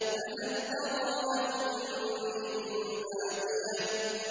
فَهَلْ تَرَىٰ لَهُم مِّن بَاقِيَةٍ